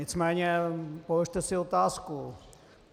Nicméně položte si otázku.